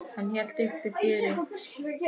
Hann hélt uppi fjöri.